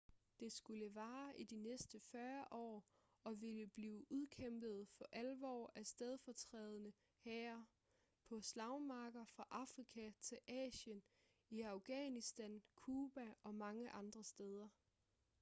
det skulle vare i de næste 40 år og ville blive udkæmpet for alvor af stedfortrædende hære på slagmarker fra afrika til asien i afghanistan cuba og mange andre steder